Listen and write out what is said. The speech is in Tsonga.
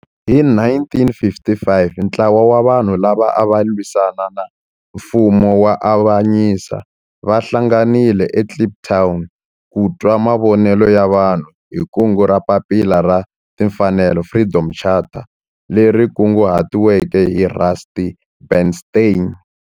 Hi 1955 ntlawa wa vanhu lava ava lwisana na nfumo wa avanyiso va hlanganile eKliptown ku twa mavonelo ya vanhu hi kungu ra Papila ra Timfanelo, Freedom Charter, leri kunguhatiweke hi Rusty Bernstein.